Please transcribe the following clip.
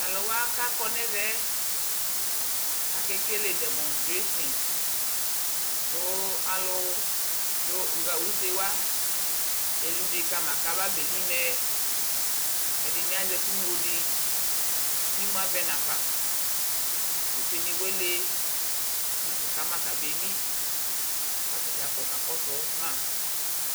Tʋ alʋwa kakɔ nʋ ɛvɛ ɛ, akekele dɛmɔŋsterasi (imakɔnʋdʋnɔ) kʋ alʋ dʋ, ɣa use wa eli une kama kafabeli mɛ Ɛdini azɛ ɛkʋ ŋlo di kʋ imʋ avɛ n'afa Use ni wa ele nʋ anafɔka ma kabeli kʋ atadza kɔ kakɔsʋ ma